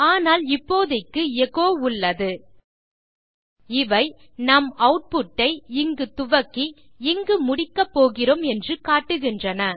ஆனால் இப்போதைக்கு எச்சோ உள்ளது இவை நாம் ஆட்புட் ஐ இங்கு துவக்கி இங்கு முடிக்கப்போகிறோம் என்று காட்டுகின்றன